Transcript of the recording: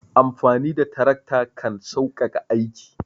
Amfani da tarakta kan sauƙaƙa aiki.